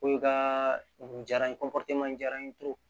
Ko i ka nin diyara n ye n diyara n ye